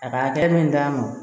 A ka hakɛ min t'a ma wo